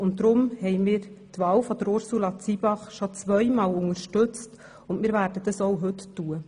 Deshalb haben wir die Wahl von Ursula Zybach bereits zweimal unterstützt und werden dies auch heute tun.